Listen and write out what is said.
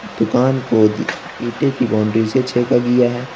दुकान को ईंटे के बाउंड्री से छेका गया है।